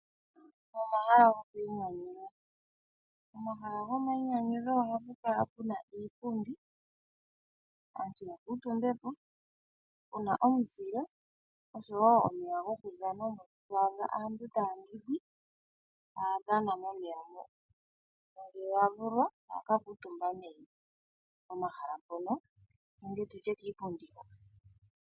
Omahala gokwiinyanyudha, pomahala gomainyanyudho ohapu kala puna iipundi, aantu ya kuutumbe po, puna omuzile osho wo omeya gokudhana mono to adha aantu taya yogo taya dhana momeya mo. Ngele ya vulwa ohaya ka kuutumba nee pomahala mpono nenge tu tye kiipundi hoka.